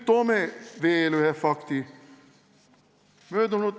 Toon veel ühe fakti.